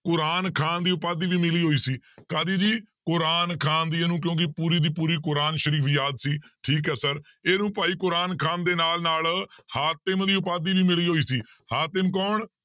ਕੁਰਾਨ ਖ਼ਾਨ ਦੀ ਉਪਾਧੀ ਵੀ ਮਿਲੀ ਹੋਈ ਸੀ ਕਾਹਦੀ ਜੀ ਕੁਰਾਨ ਖ਼ਾਨ ਦੀ ਇਹਨੂੰ ਕਿਉਂਕਿ ਪੂਰੀ ਦੀ ਕੁਰਾਨ ਸਰੀਫ਼ ਯਾਦ ਸੀ ਠੀਕ ਹੈ sir ਇਹਨੂੰ ਭਾਈ ਕੁਰਾਨ ਖ਼ਾਨ ਦੇ ਨਾਲ ਨਾਲ ਹਾਤਿਮ ਦੀ ਉਪਾਧੀ ਵੀ ਮਿਲੀ ਹੋਈ ਸੀ ਹਾਤਿਮ ਕੌਣ